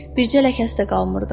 bircə ləkəsi də qalmırdı.